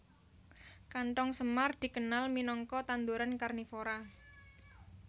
Kanthong semar dikenal minangka tanduran karnivora